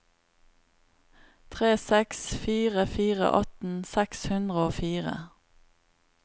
tre seks fire fire atten seks hundre og fire